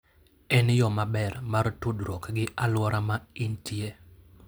En yo maber mar tudruok gi alwora ma intie.